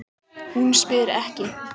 Hún spyr ekki.